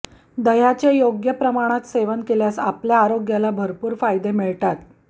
दह्याचे योग्य प्रमाणात सेवन केल्यास आपल्या आरोग्याला भरपूर फायदे मिळतात